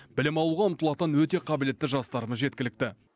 білім алуға ұмтылатын өте қабілетті жастарымыз жеткілікті